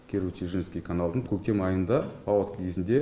киру чежинский каналын көктем айында паводка кезінде